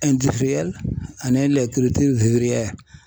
ani